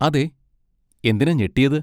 അതെ, എന്തിനാ ഞെട്ടിയത്?